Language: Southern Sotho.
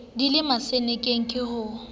di le mosenekeng ke ha